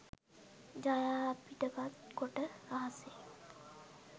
ඡායාපිටපත් කොට රහසේ